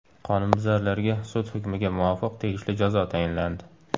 Qonunbuzarlarga, sud hukmiga muvofiq, tegishli jazo tayinlandi.